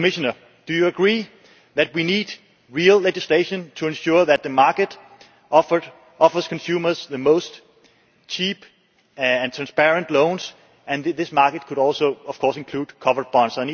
Commissioner, do you agree that we need real legislation to ensure that the market offers consumers the cheapest and most transparent loans, and that this market could also, of course, include covered bonds?